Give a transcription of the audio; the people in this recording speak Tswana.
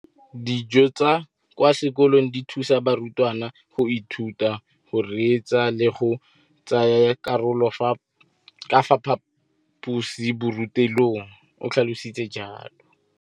Dijo tsa kwa sekolong dithusa barutwana go ithuta, go reetsa le go tsaya karolo ka fa phaposiborutelong, o tlhalositse jalo.